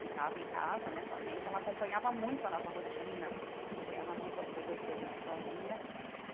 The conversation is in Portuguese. ficava em casa né com a gente, ela acompanhava muito a nossa rotina, acompanhava muito as coisas que a gente fazia.